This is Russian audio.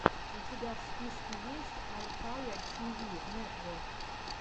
у тебя в списке есть альхайя ти ви нетвок